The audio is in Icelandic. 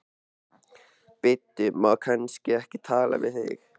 Bíddu, má kannski ekki tala við þig?